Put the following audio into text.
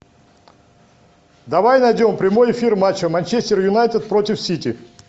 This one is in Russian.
давай найдем прямой эфир матча манчестер юнайтед против сити